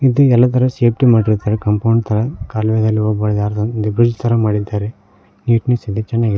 ಇದು ಎಲ್ಲ ತರ ಸೇಫ್ಟಿ ಮಾಡಿರುತ್ತಾರೆ ಕಾಂಪೌಂಡ್ ತರ ಕಾಲುವೆದಲ್ಲಿ ಹೋಗುವಾಗ ಯಾರದ್ ಒಂದು ಬ್ರಿಡ್ಜ್ ತರ ಮಾಡಿದ್ದಾರೆ ನೀಟ್ನೆಸ್ ಇದೆ ಚನ್ನಾಗಿದೆ.